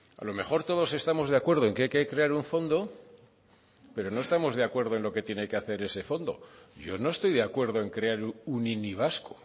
a lo mejor todos estamos de acuerdo en que hay que crear un fondo pero no estamos de acuerdo en lo que tiene que hacer ese fondo yo no estoy de acuerdo en crear un ini vasco